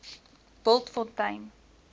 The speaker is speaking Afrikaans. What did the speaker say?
bultfontein